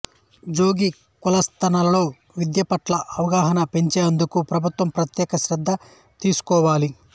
జొగి కులస్తులలో విద్యపట్ల అవగాహన పెంచేందుకు ప్రభుత్వం ప్రత్యేక శ్రద్ధ తీసుకోవాలి